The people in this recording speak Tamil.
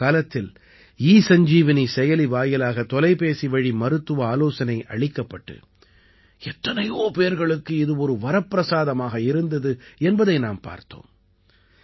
கொரோனா காலத்தில் ஈ சஞ்சீவனி செயலி வாயிலாக தொலைபேசிவழி மருத்துவ ஆலோசனை அளிக்கப்பட்டு எத்தனையோ பேர்களுக்கு இது ஒரு வரப்பிரசாதமாக இருந்தது என்பதை நாம் பார்த்தோம்